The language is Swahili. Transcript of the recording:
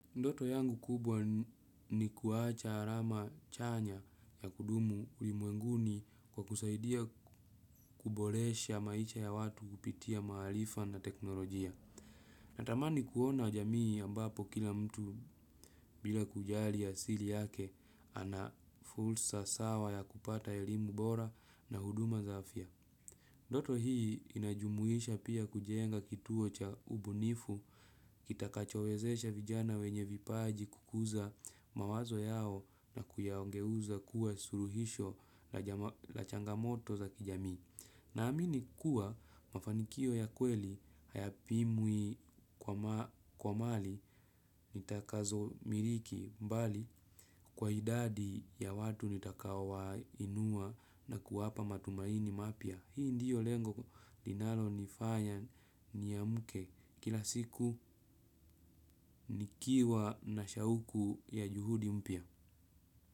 Ndoto yangu kubwa ni kuacha alama chanya ya kudumu ulimwenguni kwa kusaidia kuboresha maisha ya watu kupitia maarifa na teknolojia. Natamani kuona jamii ambapo kila mtu bila kujali asili yake ana fursa sawa ya kupata elimu bora na huduma za afya. Ndoto hii inajumuisha pia kujenga kituo cha ubunifu, kitakachowezesha vijana wenye vipaji kukuza mawazo yao na kuyageuza kuwa suluhisho la changamoto za kijamii. Naamini kuwa mafanikio ya kweli hayapimwi kwa mali nitakazo miliki mbali kwa idadi ya watu nitakao wainua na kuwapa matumaini mapya. Hii ndio lengo linalo nifanya niamke kila siku nikiwa na shauku ya juhudi mpya.